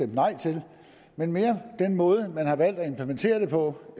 nej til men mere den måde man har valgt at implementere det på